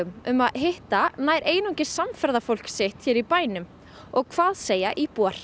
um að hitta nær einungis samferðafólk sitt í bænum og hvað segja íbúar